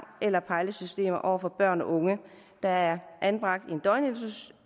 eller pejlesystemer over for børn og unge der er anbragt